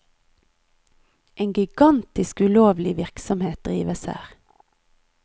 En gigantisk ulovlig virksomhet drives her.